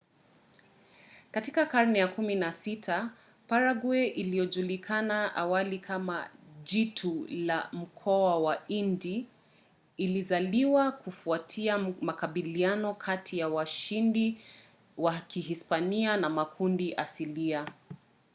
katika karne ya 16 parague iliyojulikana awali kama jitu la mkoa wa indi ilizaliwa kufuatia makabiliano kati ya washindi wa kihispania na makundi asilia